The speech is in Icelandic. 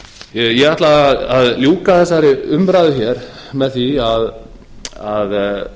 ég ætla að ljúka þessari umræðu hér með því að